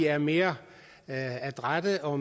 er mere adrætte og